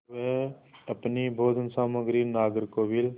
वे अपनी भोजन सामग्री नागरकोविल